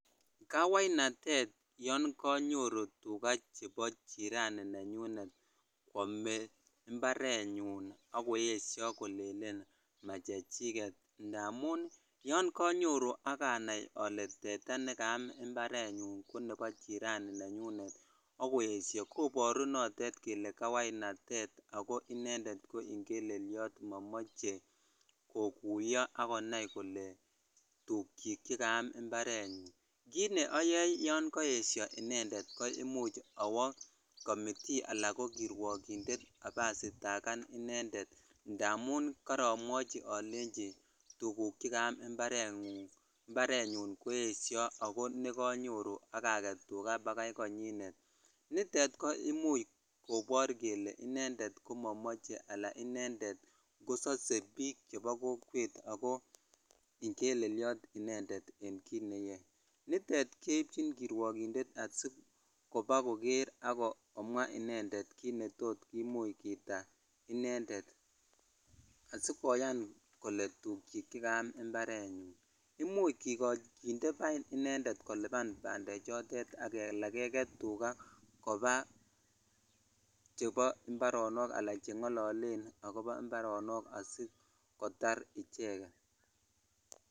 Kawainatet yoon konyoru tukaa chebo jirani nenyunet kwomee mbarenyun ak koyesho kolelen machechiket ndamun yoon konyoru ak anaii olee teta nekaam mbarenyun ko nebo jirani nenyunet ak koyesho koboru notet kelee kawainatet ak ko inendet ko ing'eleliot momoje kokuyo ak konai kolee tukyi chekaam mbarenyun, kiit ne oyoe yoon koyesho inendet ko imuch owoo komitii alaa ko kirwokindet ibasitakan inendet ndamun koromwochi tukuk chekaam mbarenyun koesio ak ko nekonyoru ak aket tukaa bakai konyinet, nitet ko imuch kobor kelee inendet komomoche alaa inendet kosose biik chebo kokwet ak ko ing'eleliot inendet en kiit neyoe, nitet keibchin kirwokindet asikobo koker ak ko mwaa inendet kiit netot kimuch keita inendet asikoyan kolee tukyik chekaam mbarenyun, imuch kinde bain inendet koliban bandechotet alaa keket tukaa kobaa chebo imbaronok alaa cheng'ololen ak kobo imbaronok asikotar icheket.